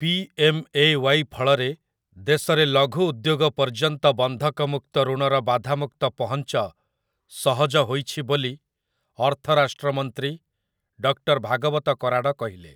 P. M. A. Y. ଫଳରେ ଦେଶରେ ଲଘୁ ଉଦ୍ୟୋଗ ପର୍ଯ୍ୟନ୍ତ ବନ୍ଧକ ମୁକ୍ତ ଋଣର ବାଧାମୁକ୍ତ ପହଞ୍ଚ ସହଜ ହୋଇଛି ବୋଲି ଅର୍ଥ ରାଷ୍ଟ୍ର ମନ୍ତ୍ରୀ ଡକ୍ଟର ଭାଗବତ କରାଡ଼ କହିଲେ ।